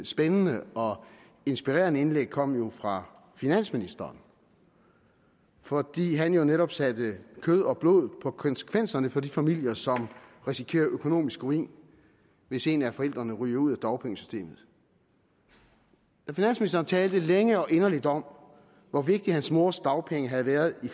spændende og inspirerende indlæg kom jo fra finansministeren fordi han netop satte kød og blod på konsekvenserne for de familier som risikerer økonomisk ruin hvis en af forældrene ryger ud af dagpengesystemet da finansministeren talte længe og inderligt om hvor vigtige hans mors dagpenge havde været i